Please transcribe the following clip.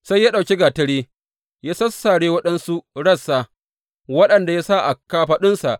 Sai ya ɗauki gatari ya sassare waɗansu rassa, waɗanda ya sa a kafaɗunsa.